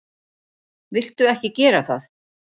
Viltu ekki gera það!